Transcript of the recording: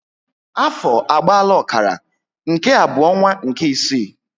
Afọ agbaala ọkara, nke a bu onwa nke ịsị